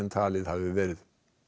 talið hafi verið